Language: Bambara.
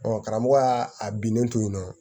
karamɔgɔ y'a a binnen to yen nɔ